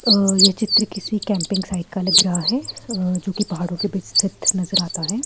यह चित्र किसी कैंपिंग साइड लग रहा है जो कि पहाड़ों के बीच स्थित नजर आता है।